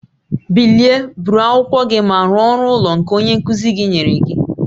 Bilie, buru akwụkwọ gị ma rụọ ọrụ ụlọ nke onye nkuzi gị nyere gị